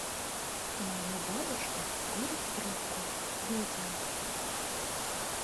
моя бабушка курит трубку видео